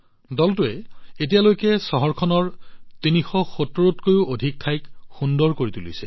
দলটোৱে এতিয়ালৈকে চহৰখনৰ ৩৭০ত কৈও অধিক ঠাইক সুন্দৰ কৰি তুলিছে